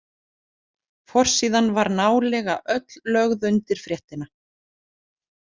Forsíðan var nálega öll lögð undir fréttina.